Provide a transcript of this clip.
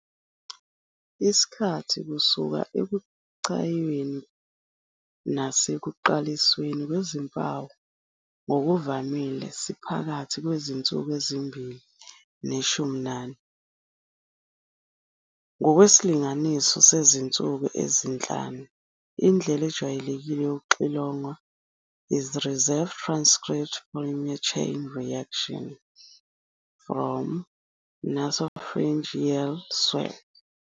Isikhathi kusuka ekuchayweni nasekuqalisweni kwezimpawu ngokuvamile siphakathi kwezinsuku ezimbili neshumi nane, ngokwesilinganiso sezinsuku ezinhlanu. Indlela ejwayelekile yokuxilonga is reverse transcript polymerase chain reaction, rRT-PCR, from a nasopharyngeal swab.